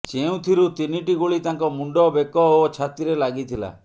ଯେଉଁଥିରୁ ତିନିଟି ଗୁଳି ତାଙ୍କ ମୁଣ୍ଡ ବେକ ଓ ଛାତିରେ ଲାଗିଥିଲା